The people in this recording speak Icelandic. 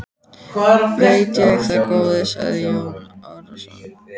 Veit ég það góði, sagði Jón Arason.